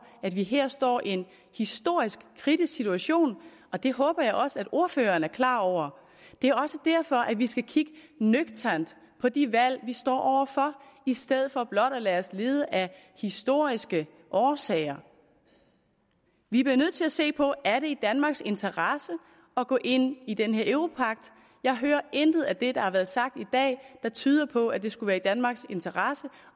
at vi her står i en historisk kritisk situation og det håber jeg også at ordføreren er klar over det er også derfor at vi skal kigge nøgternt på de valg vi står over for i stedet for blot at lade os lede af historiske årsager vi bliver nødt til at se på er i danmarks interesse at gå ind i den her europagt der er intet af det der er blevet sagt i dag der tyder på at det skulle være i danmarks interesse